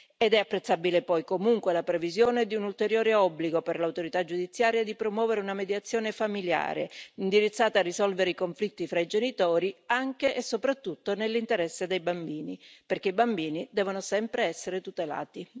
È poi apprezzabile la previsione di un ulteriore obbligo per l'autorità giudiziaria di promuovere una mediazione familiare indirizzata a risolvere i conflitti fra i genitori, anche e soprattutto nell'interesse dei bambini, perché i bambini devono sempre essere tutelati.